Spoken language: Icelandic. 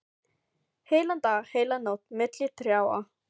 Heilan dag, heila nótt, milli trjáa.